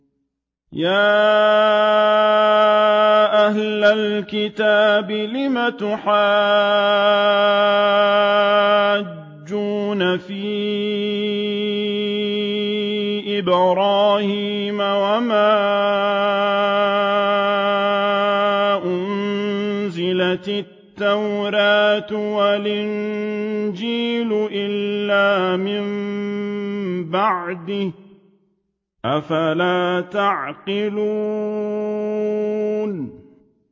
يَا أَهْلَ الْكِتَابِ لِمَ تُحَاجُّونَ فِي إِبْرَاهِيمَ وَمَا أُنزِلَتِ التَّوْرَاةُ وَالْإِنجِيلُ إِلَّا مِن بَعْدِهِ ۚ أَفَلَا تَعْقِلُونَ